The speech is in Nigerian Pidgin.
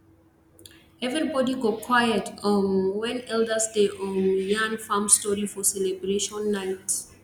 everybody go quiet um when elders dey um yarn farm story for celebration night